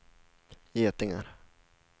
getingar